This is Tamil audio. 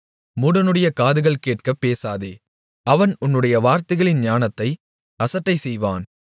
மூடனுடைய காதுகள் கேட்கப் பேசாதே அவன் உன்னுடைய வார்த்தைகளின் ஞானத்தை அசட்டை செய்வான்